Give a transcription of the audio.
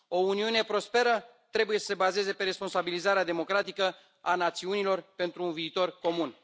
O Uniune prosperă trebuie să se bazeze pe responsabilizarea democratică a națiunilor pentru un viitor comun.